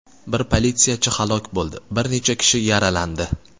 Bir politsiyachi halok bo‘ldi, bir necha kishi yaralandi.